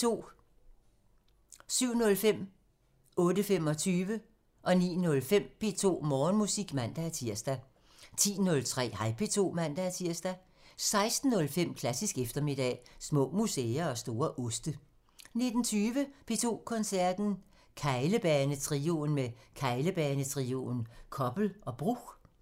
07:05: P2 Morgenmusik (man-tir) 08:25: P2 Morgenmusik (man-tir) 09:05: P2 Morgenmusik (man-tir) 10:03: Hej P2 (man-tir) 16:05: Klassisk eftermiddag – Små museer og store oste 19:20: P2 Koncerten – Keglebanetrioen med Keglebanetrioen, Koppel og Bruch